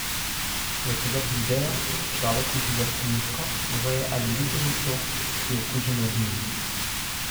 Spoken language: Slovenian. V telo pridejo, če človek uživa svinjsko, goveje ali ribje meso, ki je okuženo z njimi.